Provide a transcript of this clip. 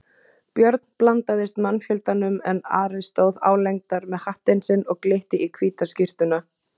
Björn blandaðist mannfjöldanum en Ari stóð álengdar með hattinn sinn og glitti í hvíta skyrtuna.